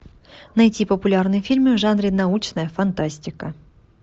найти популярные фильмы в жанре научная фантастика